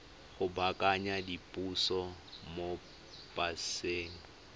go baakanya diphoso mo paseng